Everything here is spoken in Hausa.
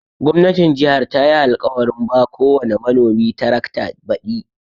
Gwamnatin jihar tayi alkawarin ba kowani manomi tarakta baɗi.